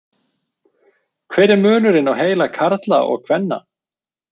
Hver er munurinn á heila karla og kvenna?